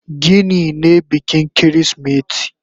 Gini ne bikin kirismeti.